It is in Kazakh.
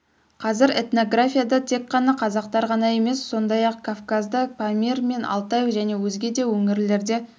қазір этнографияда тек қана қазақтар ғана емес сондай-ақ кавказда памир мен алтай және өзге де өңірлерде